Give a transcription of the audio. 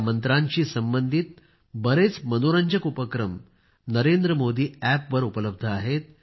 या मंत्रांशी संबंधित बरेच मनोरंजक उपक्रम नरेंद्रमोदी App वर उपलब्ध आहेत